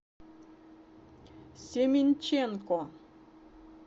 семенченко